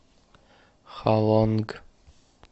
халонг